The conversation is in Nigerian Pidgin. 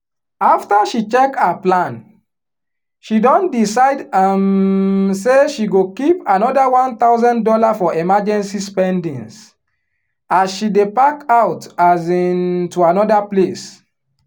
after she check her plan she don decide um say she go keep another one thousand dollars for emergency spendings as she dey pack out um to another place